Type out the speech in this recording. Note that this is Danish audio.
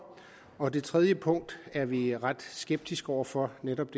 og det tredje punkt er vi ret skeptiske over for netop